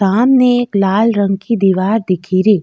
सामने एक लाल रंग की दिवार दिखेरी।